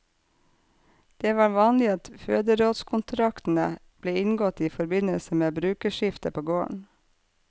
Det var vanlig at føderådskontraktene ble inngått i forbindelse med brukerskifte på gården.